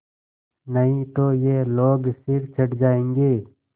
नहीं तो ये लोग सिर चढ़ जाऐंगे